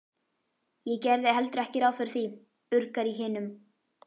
Ég gerði heldur ekki ráð fyrir því, urgar í hinum.